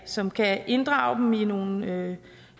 som kan inddrage dem i nogle